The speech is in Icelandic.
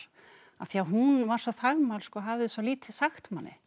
af því að hún var svo þagmælsk og hafði svo lítið sagt manni